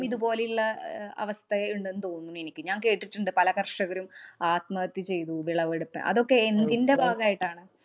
ഇതുപോലെയുള്ള അഹ് അവ ഇണ്ടെന്നു തോന്നുന്നു എനിക്ക്. ഞാന്‍ കേട്ടിട്ടുണ്ട് പല കര്‍ഷകരും ആത്മഹത്യ ചെയ്തു വിളവെടുത്ത് അതൊക്കെ എന്തിന്‍റെ ഭാഗമായിട്ടാണ്.